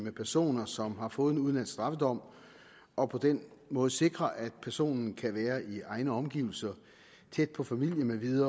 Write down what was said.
med personer som har fået en udenlandsk straffedom og på den måde sikre at personen kan være i egne omgivelser tæt på familie